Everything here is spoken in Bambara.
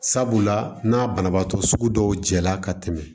Sabula n'a banabaatɔ sugu dɔw jɛla ka tɛmɛ